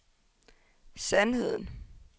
sandheden